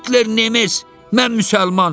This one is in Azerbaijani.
Hitler Nemes, mən müsəlman.